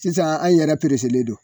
Sisan an yɛrɛ pereselen don.